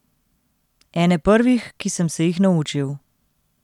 Ene prvih, ki sem se jih naučil.